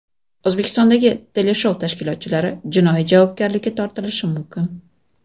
O‘zbekistondagi teleshou tashkilotchilari jinoiy javobgarlikka tortilishi mumkin.